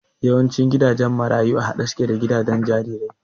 Yawancin gidajen marayu a haɗe suke da gidajen jarirai